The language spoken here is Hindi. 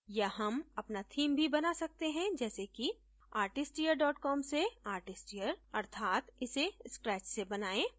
या हम अपना theme भी बना सकते हैं जैसे कि artisteer com से artisteer अर्थात इसे scratch से बनाएँ